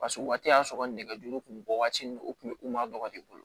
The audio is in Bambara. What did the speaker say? Paseke o waati y'a sɔrɔ nɛgɛjuru kun mi bɔ waati ni o kun ma bɔ i bolo